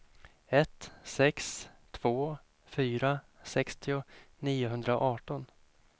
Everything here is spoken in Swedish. ett sex två fyra sextio niohundraarton